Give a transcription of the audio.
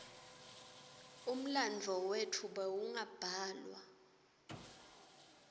umlandvo wetfu bewungabhalwa